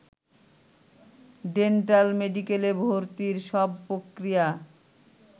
ডেন্টাল-মেডিকেলে ভর্তির সব প্রক্রিয়া